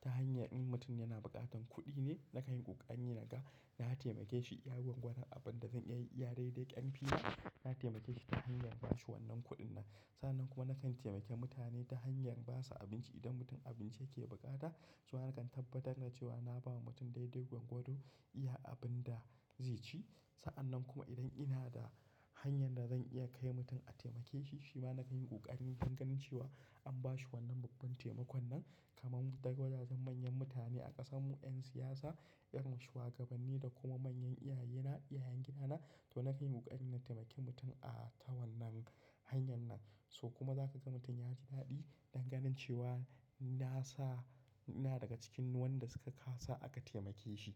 Ta hanyar in mutum yana buƙatar kuɗine, nakanyi ƙokari naga, na taimake shi, ya yiwu gudan abinda zan iya daidai ƙarfina, na taimakeshi ta hanyar ba shi wannan kuɗin. Sannan kuma nakan taimake mutane ta hanyar basu abinci idan mutum abinci yake buƙata. Zuwa nakan tabbatar da cewa naba mutum daidai gwargwado iya abinda zaici. Sa'annan kuma idan ina da hanyar dazan iya kai mutum a taimakeshi, shima nakan ƙokarin don ganin cewa anba shi wannan babban taimakonnan. Kaman daga wajajen manyan mutane a ƙasanmu, 'yan siyasa, irin shuwagabanni da kuma manyan iyayena, iyayen gidana, to nakanyi ƙokari na taimake mutum a ta wannan hanyar nan. To kuma zakaga mutum yaji daɗi don ganin cewa nasa, ina daga cikin wanda suka kasa aka taimake shi.